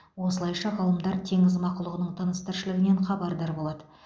осылайша ғалымдар теңіз мақұлығының тыныс тіршілігінен хабардар болады